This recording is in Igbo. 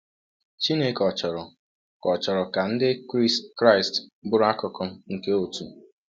Chineke ò chọrọ ka chọrọ ka Ndị Kraịst bụrụ akụkụ nke òtù?